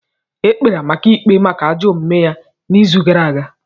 E kpere Amaka ikpe maka ajọ omume ya n'izu gara aga.